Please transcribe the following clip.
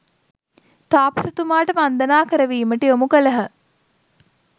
තාපසතුමාට වන්දනා කරවීමට යොමු කළහ.